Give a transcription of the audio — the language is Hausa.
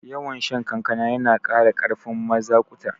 Yawan shan kankana yana kara karfin mazaƙuta